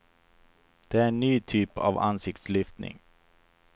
Det är en ny typ av ansiktslyftning.